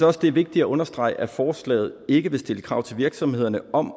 også det er vigtigt at understrege at forslaget ikke vil stille krav til virksomhederne om